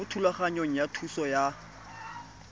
mo thulaganyong ya thuso y